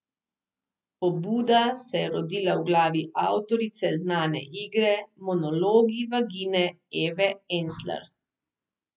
Pobuda se je rodila v glavi avtorice znane igre Monologi vagine Eve Ensler.